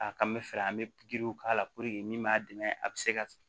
A kan bɛ fɛɛrɛ an bɛ giriw k'a la min b'a dɛmɛ a bɛ se ka